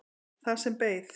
Það sem beið.